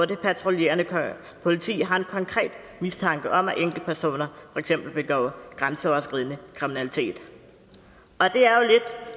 det patruljerende politi har en konkret mistanke om at enkeltpersoner for eksempel begår grænseoverskridende kriminalitet